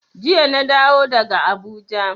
Jiya na dawo daga Abuja.